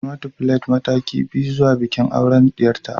Ramatu plaite mataki biyu zuwa bikin auren diyarta